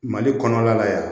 Mali kɔnɔla la yan